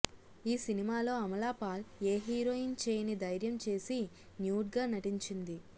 ఈ సినిమాలో అమలాపాల్ ఏ హీరోయిన్ చేయని ధైర్యం చేసి న్యూడ్ గా నటించింది